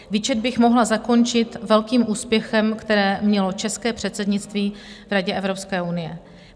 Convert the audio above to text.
Výčet bych mohla zakončit velkým úspěchem, který mělo české předsednictví v Radě Evropské unie.